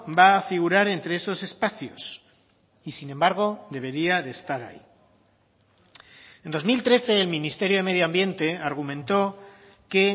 va a figurar entre esos espacios y sin embargo debería de estar ahí en dos mil trece el ministerio de medio ambiente argumentó que